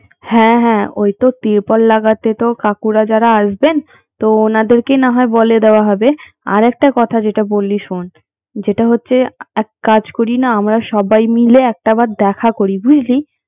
হ্যাঁ হ্যাঁ ঐ তো তিরপল লাগাতে তো কাকুরা যারা আসবেন তো উনাদেরকে নাহয় বলে দেওয়া হবে আর একটা কথা যেটা বললি শোন যেটা হচ্ছে এক কাজ করি না আমরা সবাই মিলে একটা বার দেখা করি বুঝলি